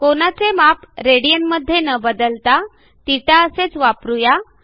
कोनाचे माप रेडियन मध्ये न बदलता θ असेच वापरू या